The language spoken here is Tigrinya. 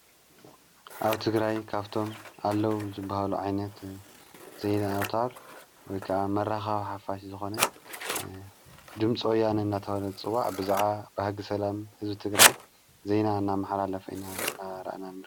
ኣብ ትግራይ ካፍቶም ኣለዉ ዝበሃሉ ዓይነት ዘይናኣውታር ወይ ከዓ መራኻዊ ሓፋሽ ዝኾነ ድምፅወያን ናታውለት ጽዋዕ ብዛዓ ብሕጊ ሰላም ሕዙ ትግራይ ዘይና እና መሓላ ለፈይና እናረእና ንርከብ።